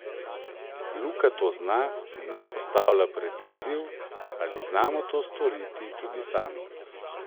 Luka to zna in nas postavlja pred izziv, ali znamo to storiti tudi sami.